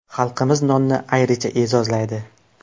Xalqimiz nonni ayricha e’zozlaydi.